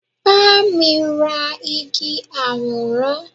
ma mi ra Igi aworan